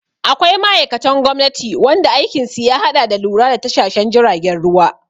Akwai ma'aikatan gwamnati wanda aikin su ya haɗa da lura da tashashen jiragen ruwa